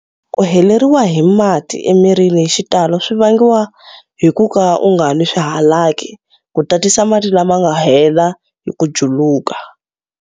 Ku heleriwa hi mati emirini hi xitalo swi vangiwa hi ku ka u nga nwi swihalaki ku tatisa mati lama ma nga hela hi ku juluka.